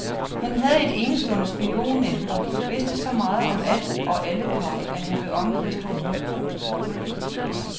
Han havde et enestående spionnet og vidste så meget om alt og alle, komma at han blev omgivet af stor frygt. punktum